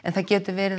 það gætu verið